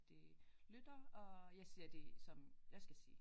De lytter og jeg siger det som jeg skal sige